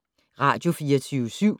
Radio24syv